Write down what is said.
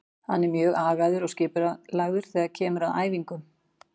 Hann er mjög agaður og skipulagður þegar kemur að æfingum.